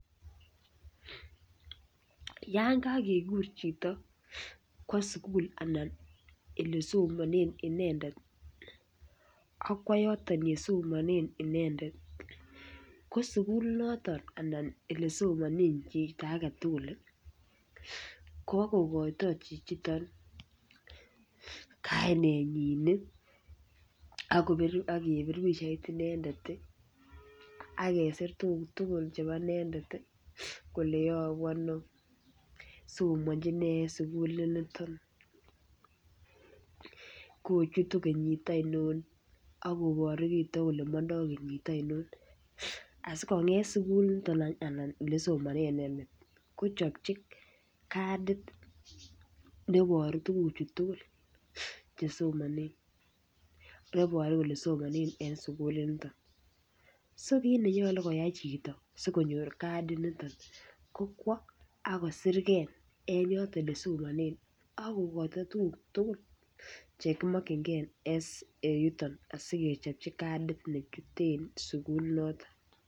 Yan kakekur chito kwo sukul anan ele somonen inendet akwo yoton yesomonen inendet ko sukulit noton ana ole somonen chito agetutuk Kobo kokoito chichoton kainenyin nii akopit ak kepir pichait inendet tii ak kesir tukuk tukul chebo inendet tii kole yobu Ono somonchinee en sukulit niton, kochutu kenyit aino ak koboru chito kole mondo kenyit oinon asikonget sukulit niton anan ole somonen inendet kochopchi kadit neiboru tukuk chuu tukuk chesomonen neboru kole somonen en sukulit niton, so kit nenyolu koyai chito sikonyor kadit niton ko kwo a kosirgee en yoton yesomonen ak kokoito tukuk tukul chekimokigee en yuton asikechopchi kadit nechute sukulit noton.